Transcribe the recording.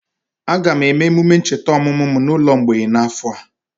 Aga m eme emume ncheta ọmụmụ m n'ụlọ mgbei n'afọ a.